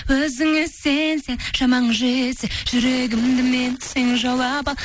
өзіңе сенсең шамаң жетсе жүрегімді менің сен жаулап ал